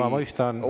Ma mõistan.